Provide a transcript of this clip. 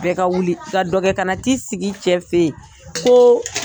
Bɛɛ ka wuli . I ka dɔ kɛ ka na t'i sigi i cɛ fe yen ko